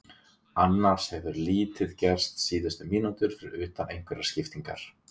Annars hefur lítið gerst síðustu mínútur fyrir utan einhverjar skiptingar.